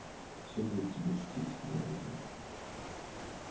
всё бы тебе шутить говорит он